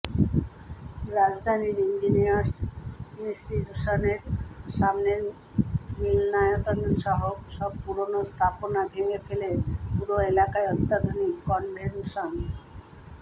রাজধানীর ইঞ্জিনিয়ার্স ইনস্টিটিউশনের সামনের মিলনায়তনসহ সব পুরোনো স্থাপনা ভেঙে ফেলে পুরো এলাকায় অত্যাধুনিক কনভেনশন